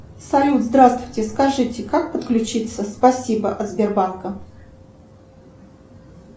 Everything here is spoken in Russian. салют здравствуйте скажите как подключиться спасибо от сбербанка